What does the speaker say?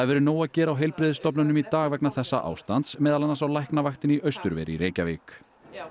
verið nóg að gera á heilbrigðisstofnunum í dag vegna þessa ástands meðal annars á Læknavaktinni í Austurveri í Reykjavík